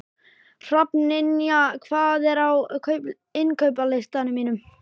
Hrafnynja, hvað er á innkaupalistanum mínum?